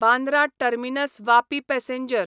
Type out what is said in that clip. Bandra terminus Vapi passenger